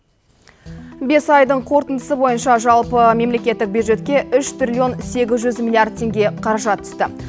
бес айдың қорытындысы бойынша жалпы мемлекеттік бюджетке үш триллион сегіз жүз миллиард теңге қаражат түсті